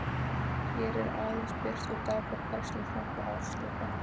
Hér er aðeins birt úr dagbókarfærslum fram til ársloka